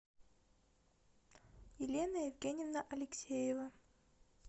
елена евгеньевна алексеева